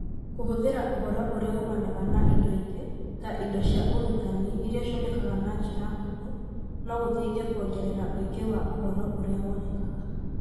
Kũhũthĩra ũhoro ũrĩa umanaga na indo ingĩ, ta indo cia ũrutani iria cionekaga na njĩra hũthũ, no gũteithie kwongerera ũingĩ wa ũhoro ũrĩa wonekaga.